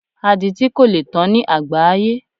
Aditi kò lè tán ní àgbááyé